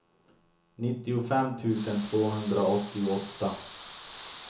nittiofem tusen tvåhundraåttioåtta